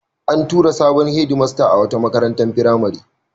An tura sabon hedmasta a wata makarantar firamare.